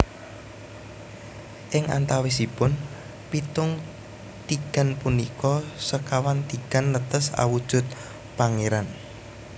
Ing antawisipun pitung tigan punika sekawan tigan netes awujud pangéran